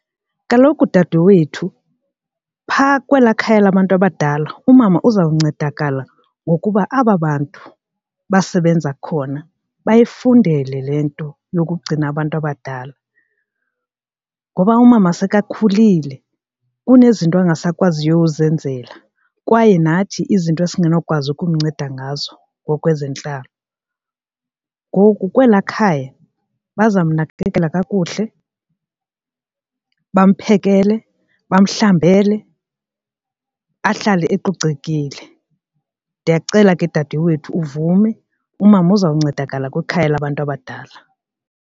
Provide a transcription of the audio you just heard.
Kaloku dadewethu phaa kwelaa khaya labantu abadala umama uzawuncedakala ngokuba aba bantu basebenza khona bayifundele le nto yokugcina abantu abadala ngoba umama sekakhulile kunezinto ungasakwaziyo uzenzela kwaye nathi izinto esinganokwazi ukumnceda ngazo ngokwezentlalo. Ngoku kwelaa khaya bazamnakekela kakuhle bamphekele, bomhlambele ahlale ecocekile. Ndiyakucela ke dadewethu uvume umama uzawuncedakala kwikhaya labantu abadala.